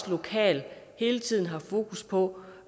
lokalt hele tiden har fokus på